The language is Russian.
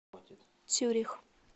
цюрих